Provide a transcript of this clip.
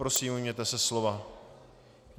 Prosím, ujměte se slova.